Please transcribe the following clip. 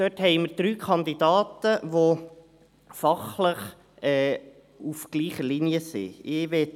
Dort haben wir drei Kandidaten, die fachlich auf gleicher Linie sind.